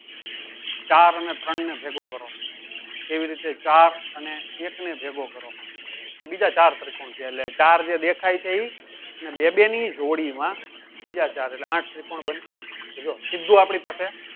ચાર અને ત્રણને ભેગો કરો એવી રીતે ચાર અને એક ને ભેગો કરો તો બીજા ચાર ત્રિકોણ છે. એર્ટલે ચાર એ દેખાય છે ઇ અને બે બે જી જોડી માં બીજા ચાર એટલે આઠ ત્રિકોણ બને. તો જો સીધ્ધું આપડી પાસે